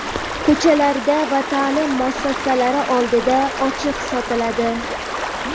ko‘chalarda va ta’lim muassasalari oldida ochiq sotiladi.